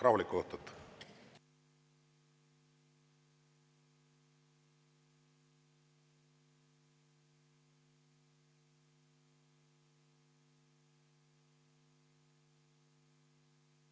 Rahulikku õhtut!